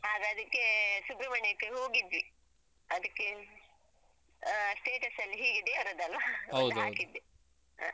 ಆಗ ಅದಕ್ಕೆ ಸುಬ್ರಹ್ಮಣ್ಯಕ್ಕೆ ಹೋಗಿದ್ವಿ. ಅದಕ್ಕೇ ಹ್ಮ್ ಆ status ಅಲ್ಲಿ ಹೀಗೆ ದೇವರದ್ದಲ್ವ ಒಂದು ಹಾಕಿದ್ದೆ ಹ ಹ.